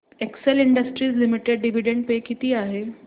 Excel Industries Limited dividend pay किती आहे